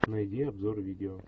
найди обзор видео